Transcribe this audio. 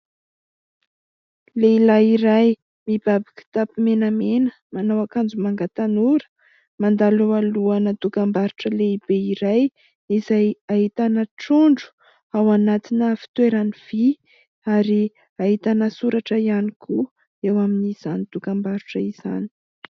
Lehilahy iray mibaby kitapo menamena, manao ankanjo manga tanora mandalo ao alohan' ny dokambarotra lehibe iray, izay ahitana trondro ao anatina fitoerany vý ary ahitana soratra ihany koa eo amin' izany dokambarotra izany.